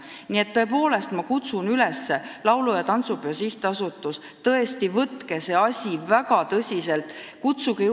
Nii et tõepoolest ma kutsun üles: laulu- ja tantsupeo sihtasutus, tõesti, võtke see asi väga tõsiselt käsile!